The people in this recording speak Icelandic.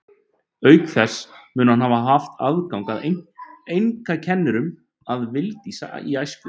Auk þess mun hann hafa haft aðgang að einkakennurum að vild í æsku.